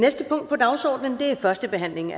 forhandlingen